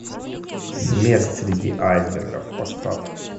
смерть среди айсбергов поставь